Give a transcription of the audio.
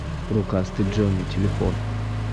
рукастый джонни телефон